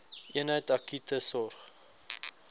eenheid akute sorg